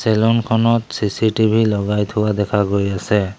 Salon খনত CCTV লগাই থোৱা দেখা গৈ আছে।